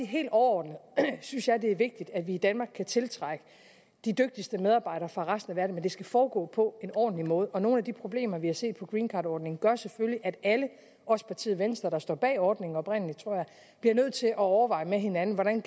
helt overordnet synes jeg at det er vigtigt at vi i danmark kan tiltrække de dygtigste medarbejdere fra resten af verden men det skal foregå på en ordentlig måde og nogle af de problemer vi har set med greencardordningen gør selvfølgelig at alle også partiet venstre der står bag ordningen oprindelig tror jeg bliver nødt til at overveje med hinanden hvordan